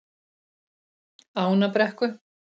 Ánabrekku